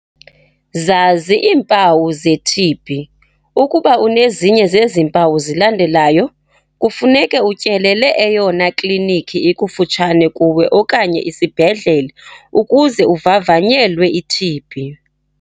Zazi iimpawu ze-TB. Ukuba unezinye zezi mpawu zilandelayo, kufuneka utyelele eyona klinikhi ikufutshane kuwe okanye isibhedlele ukuze uvavanyelwe i-TB.